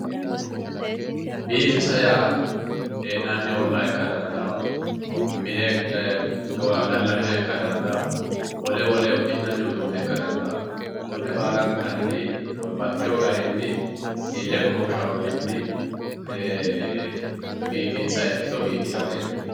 Biifissa yaa hee'nanni olla ikka dandaano mine gallanniha ikka dandaano wole wole uddi'nanni uduune ikka danda konne baallankanni baxxino garinni ile goshoshano garinni biifinsanni ikkitto biifissa yinanni.